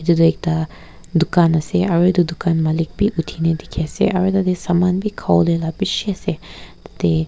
itu toh ekta dukan ase aru itu dukan malik bi uthina dikhi ase aru tateh saman bi khawole la bishi ase tate.